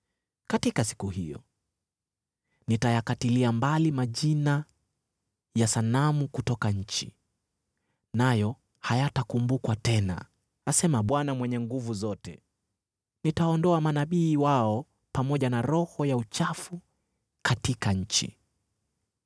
“Katika siku hiyo, nitayakatilia mbali majina ya sanamu kutoka nchi, nayo hayatakumbukwa tena,” asema Bwana Mwenye Nguvu Zote. “Nitaondoa manabii wao pamoja na roho ya uchafu katika nchi.